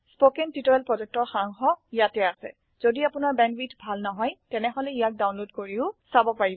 spoken tutorial প্ৰকল্পৰ সাৰাংশ ইয়াত আছে যদি আপোনাৰ বেণ্ডৱিডথ ভাল নহয় তেনেহলে ইয়াক ডাউনলোড কৰি চাব পাৰে